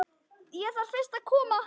Ég þarf fyrst að koma